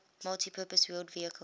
multipurpose wheeled vehicle